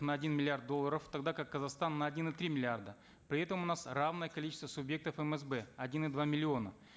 на один миллиард долларов тогда как казахстан на один и три миллиарда при этом у нас равное количество субъектов мсб один и два миллиона